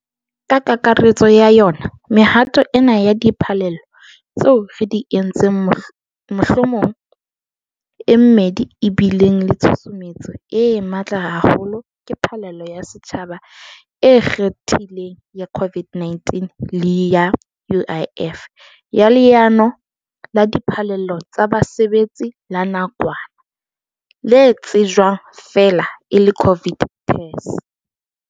Kakaretsong ya yona mehato ena ya diphallelo tseo re di entseng mohlomong e mmedi e bileng le tshusumetso e matla haholo ke phallelo ya setjhaba e ikgethileng ya COVID-19 le ya UIF, ya Leano la Diphallelo tsa Basebetsi la Nakwana, le tsejwang feela e le COVID TERS.